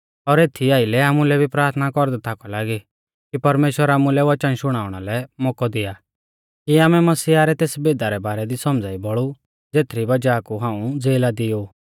और एथीई आइलै आमुलै भी प्राथना कौरदै थाकौ लागी कि परमेश्‍वर आमुलै वचन शुणाउंणा लै मौकौ दिया कि आमै मसीहा रै तेस भेदा रै बारै दी सौमझ़ाई बौल़ु ज़ेथरी वज़ाह कु हाऊं ज़ेला दी ऊ